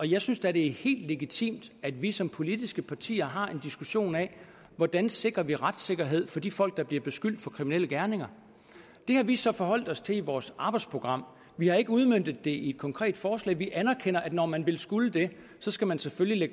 jeg synes da det er helt legitimt at vi som politiske partier har en diskussion af hvordan sikrer vi retssikkerhed for de folk der bliver beskyldt for kriminelle gerninger det har vi så forholdt os til i vores arbejdsprogram vi har ikke udmøntet det i et konkret forslag for vi anerkender at når man vil skulle det skal man selvfølgelig